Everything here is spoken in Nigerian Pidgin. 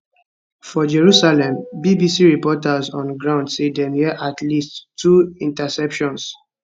for jerusalem bbc reporters on ground say dem hear at least two interceptions